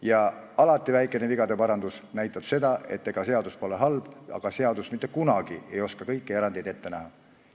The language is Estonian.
Ja alati näitab väikene vigade parandus seda, et mitte seadus pole halb, vaid kunagi ei osata seaduses kõiki erandeid ette näha.